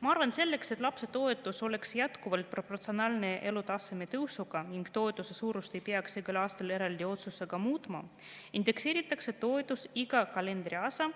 Ma arvan, et selleks, et lapsetoetus oleks jätkuvalt proportsionaalne elutaseme tõusuga ning toetuse suurust ei peaks igal aastal eraldi otsusega muutma, tuleks toetust indekseerida iga kalendriaasta